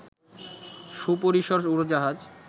সুপরিসর উড়োজাহাজ